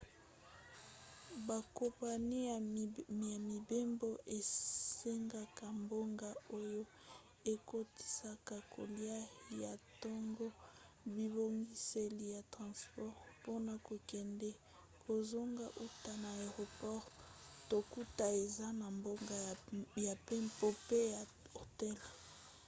bakompani ya mibembo esengaka mbongo oyo ekotisaka kolia ya ntongo bibongiseli ya transport mpona kokende/kozonga uta na aeroport to kutu eza na mbongo ya mpepo mpe ya hotel